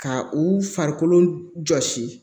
Ka u farikolo jɔsi